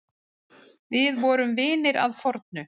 Við vorum vinir að fornu.